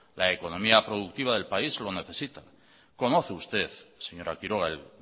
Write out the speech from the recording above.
la economía productiva del país lo necesita conoce usted señora quiroga el